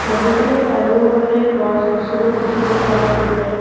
নদীখনৰ চাৰিওপাশে গছ-গছনি দেখিব পোৱা গৈছে।